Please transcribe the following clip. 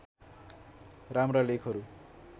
राम्रा लेखहरू